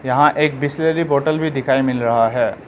यहां एक बिसलेरी बॉटल भी दिखाई मिल रहा है।